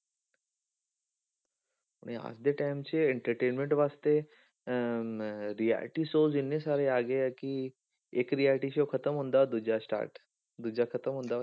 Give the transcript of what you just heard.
ਹੁਣ ਇਹ ਅੱਜ ਦੇ time 'ਚ entertainment ਵਾਸਤੇ ਅਹ reality shows ਇੰਨੇ ਸਾਰੇ ਆ ਗਏ ਆ ਕਿ, ਇੱਕ reality show ਖਤਮ ਹੁੰਦਾ ਦੂਜਾ start ਦੂਜਾ ਖਤਮ ਹੁੰਦਾ ਵਾ,